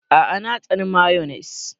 A'a! Na tsani mayones.